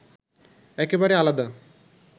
একেবারে আলাদা